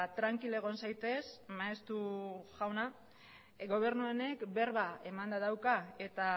trankil egon zaitez maeztu jauna gobernu honek berba emanda dauka eta